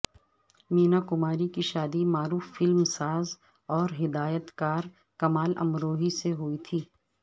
مینا کماری کی شادی معروف فلم ساز اور ہدایتکار کمال امروہی سے ہوئی تھی